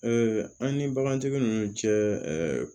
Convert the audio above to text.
an ni bagantigi ninnu cɛ